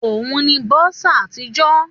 Òun ni bursar àtijọ́